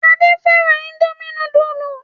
Ade fẹ́ràn Indomie núdúlù.